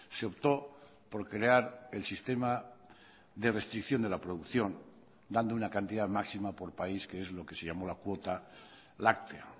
se optó por crear el sistema de restricción de la producción dando una cantidad máxima por país que es lo que se llamó la cuota láctea